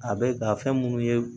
A bɛ ka fɛn minnu ye